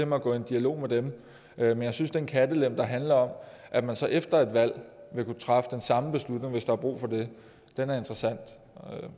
mig at gå i en dialog med dem men jeg synes at den kattelem der handler om at man så efter et valg vil kunne træffe den samme beslutning hvis der er brug for det er interessant